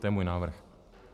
To je můj návrh.